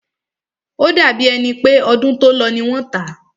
O dàbí è pé ọdún tó lọ ní wọ́n tá.